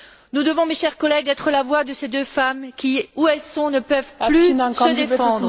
Nous devons, mes chers collègues, être la voix de ces deux femmes qui, là où elles se trouvent, ne peuvent plus se défendre.